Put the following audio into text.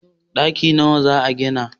daki nawa za a gina?